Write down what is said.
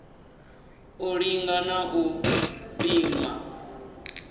u linga na u pima